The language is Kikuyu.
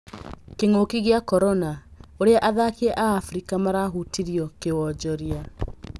Kĩng'ũki gĩa korona: Ũrĩa athaki a Afrika marahutirio kĩwonjoria.